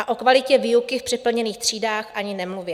A o kvalitě výuky v přeplněných třídách ani nemluvě.